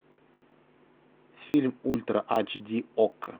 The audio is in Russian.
фильм ультра ач ди окко